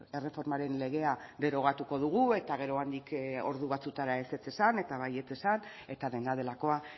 erreformaren legea derogatuko dugu eta gero handik ordu batzuetara ezetz esan eta baietz esan eta dena delakoa